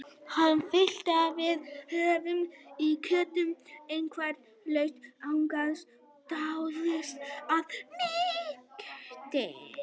Hann fitlaði við loðhúfuna í kjöltunni, einhver hluti hugans dáðist að mýktinni.